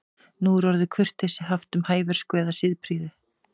Nú er orðið kurteisi haft um hæversku eða siðprýði.